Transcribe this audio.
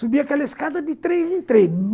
Subi aquela escada de três em três